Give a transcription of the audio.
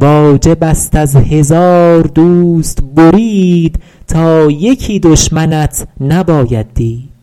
واجب است از هزار دوست برید تا یکی دشمنت نباید دید